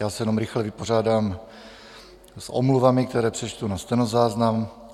Já se jenom rychle vypořádám s omluvami, které přečtu na stenozáznam.